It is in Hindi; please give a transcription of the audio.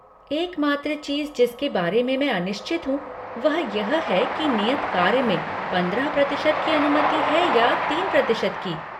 एकमात्र चीज जिसके बारे में मैं अनिश्चित हूँ वह यह है कि नियत कार्य में पंद्रह प्रतिशत की अनुमति है या तीन प्रतिशत की।